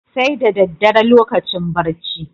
Sai da daddare lokacin barci.